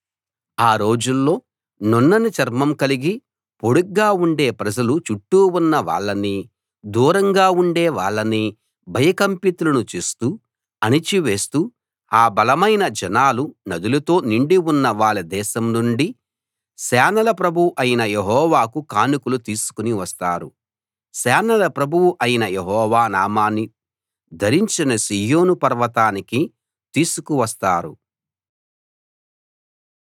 ఆ రోజుల్లో నున్నని చర్మం కలిగి పొడుగ్గా ఉండే ప్రజలు చుట్టూ ఉన్న వాళ్ళనీ దూరంగా ఉండే వాళ్ళనీ భయకంపితులను చేస్తూ అణచివేస్తూ ఆ బలమైన జనాలు నదులతో నిండి ఉన్న వాళ్ళ దేశం నుండి సేనల ప్రభువు అయిన యెహోవాకు కానుకలు తీసుకుని వస్తారు సేనల ప్రభువు అయిన యెహోవా నామాన్ని ధరించిన సీయోను పర్వతానికి తీసుకు వస్తారు